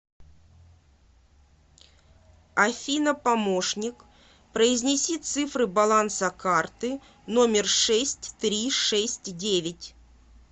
афина помощник произнеси цифры баланса карты номер шесть три шесть девять